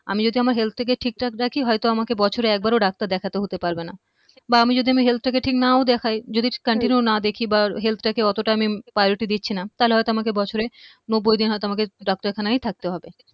আমি যদি আমার health টাকে ঠিকঠাক রাখি হয়ত আমাকে বছরে একবারও ডাক্তার দেখাতে হতে পারবেনা বা আমি যদি আমি health টাকে ঠিক নাও দেখাই যদি continue না দেখি বা health টাকে অতটা আমি priority দিচ্ছিনা তাহলে হয়ত আমকে বছরে নব্বই দিন হয়ত আমাকে ডাক্তার খানাই থাকতে হবে